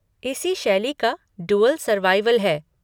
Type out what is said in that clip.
इसी शैली का 'ड्यूअल सर्वाइवल' है।